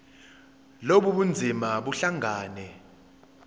lobu bunzima buhlangane